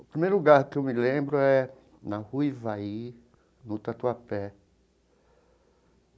O primeiro lugar que eu me lembro é na rua Ivaí, no Tatuapé.